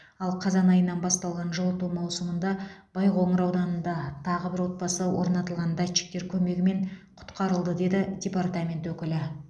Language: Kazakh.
ал қазан айынан басталған жылыту маусымында байқоңыр ауданында тағы бір отбасы орнатылған датчиктер көмегімен құтқарылды деді департамент өкілі